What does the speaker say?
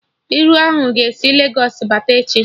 Iru ahụ ga-esi Legos bata echi